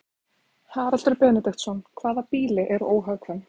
Haraldur Benediktsson: Hvaða býli eru óhagkvæm?